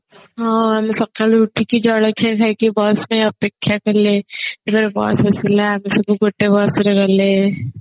ହଁ ଆମେ ସକାଳୁ ଉଠିକି ଜଳଖିଆ ଖାଇକି bus ରେ ଅପେକ୍ଷା କଲେ ତାପରେ bus ଆସିଲା ସବୁ ଗୋଟେ bus ରେ ଗଲେ